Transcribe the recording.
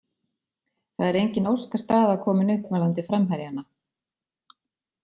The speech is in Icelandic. Það er engin óskastaða komin upp varðandi framherjana.